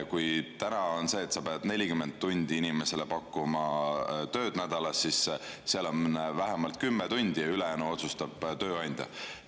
Kui täna on nii, et peab pakkuma inimesele 40 tundi tööd nädalas, siis on see vähemalt 10 tundi ja ülejäänu otsustab tööandja.